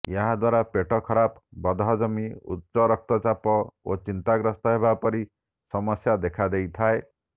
ଏହାଦ୍ୱାରା ପେଟ ଖରାପ ବଦହଜମି ଉଚ୍ଚରକ୍ତଚାପ ଓ ଚିନ୍ତାଗ୍ରସ୍ତ ହେବା ପରି ସମସ୍ୟା ଦେଖାଦେଇଥାଏ